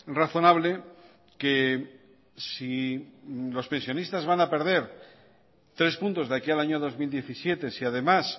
razonable que si los pensionistas van a perder tres puntos de aquí al año dos mil diecisiete si además